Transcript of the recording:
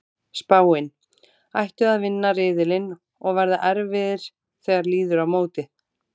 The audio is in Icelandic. Spáin: Ættu að vinna riðilinn og verða erfiðir þegar líður á mótið.